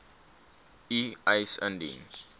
u eis indien